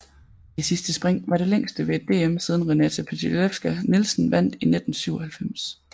Det sidste spring var det længste ved et DM siden Renata Pytelewska Nielsen vandt i 1997